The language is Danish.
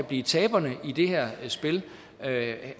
bliver taberne i det her spil